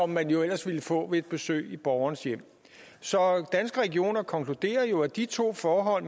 man jo ellers ville få ved et besøg i borgernes hjem så danske regioner konkluderer jo at de to forhold